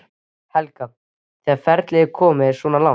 Helga: Þegar ferlið er komið svona langt?